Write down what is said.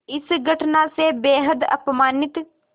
इस घटना से बेहद अपमानित